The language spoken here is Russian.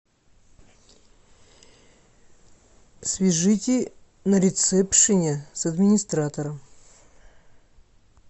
свяжите на ресепшене с администратором